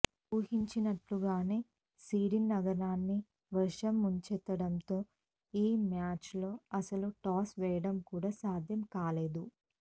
ఊహించినట్లుగానే Sydney నగరాన్ని వర్షం ముంచెత్తడంతో ఈ మ్యాచ్లో అసలు టాస్ వేయడం కూడా సాధ్యం కాలేదు